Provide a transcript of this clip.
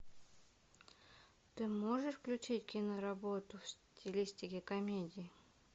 ты можешь включить киноработу в стилистике комедии